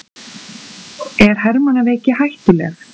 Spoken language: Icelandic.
Er hermannaveiki hættuleg?